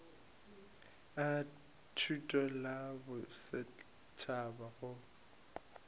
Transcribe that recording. a thuto la bosetšhaba go